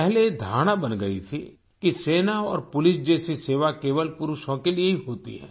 पहले ये धारणा बन गई थी कि सेना और पुलिस जैसी सेवा केवल पुरुषों के लिए ही होती है